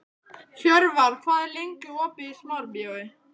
Hjörvar, hvað er lengi opið í Smárabíói?